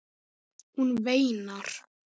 Hún veinar.